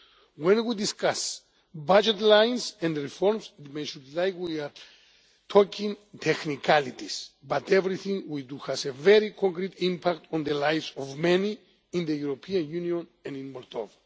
support. When we discuss budget lines and reforms, it may sound like we are talking technicalities. But everything we do has a very concrete impact on the lives of many in the European Union and